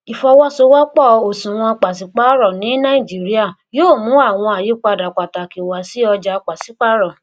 ìfọwọṣowọpọ òṣùwòn pàsípàrọ ní nàìjíríà yóò mú àwọn àyípadà pàtàkì wá sí ọjà pàsípàrọ